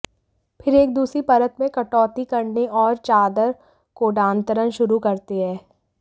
फिर एक दूसरी परत में कटौती करने और चादर कोडांतरण शुरू करते हैं